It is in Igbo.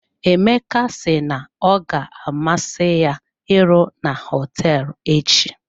Emeka si na ọ ga amasị ya iru na hotel echi.